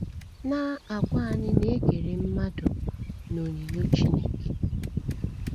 the text na - agwa anyị na e kere mmadụ n’onyinyo Chineke.